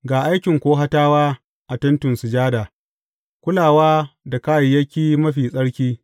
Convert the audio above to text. Ga aikin Kohatawa a Tentin Sujada, kulawa da kayayyaki mafi tsarki.